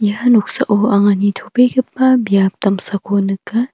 ia noksao anga nitobegipa biap damsako nika.